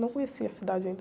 Não conheci a cidade ainda.